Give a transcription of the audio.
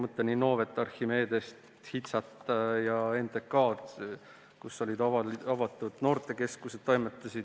Mõtlen Innovet, Archimedest, HITSA-t ja NTK-d, kus olid avatud noortekeskused.